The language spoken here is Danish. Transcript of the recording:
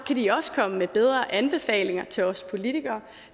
kan de også komme med bedre anbefalinger til os politikere